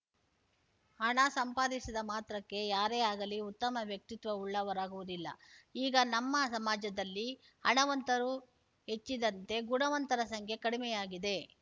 ಹಣ ಸಂಪಾದಿಸಿದ ಮಾತ್ರಕ್ಕೆ ಯಾರೇ ಆಗಲಿ ಉತ್ತಮ ವ್ಯಕ್ತಿತ್ವವುಳ್ಳವರಾಗುವುದಿಲ್ಲ ಈಗ ನಮ್ಮ ಸಮಾಜದಲ್ಲಿ ಹಣವಂತರು ಹೆಚ್ಚಿದಂತೆ ಗುಣವಂತರ ಸಂಖ್ಯೆ ಕಡಿಮೆಯಾಗಿದೆ